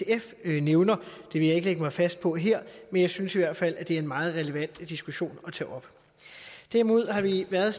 sf nævner vil jeg ikke lægge mig fast på her men jeg synes i hvert fald det er en meget relevant diskussion at tage op derimod har vi været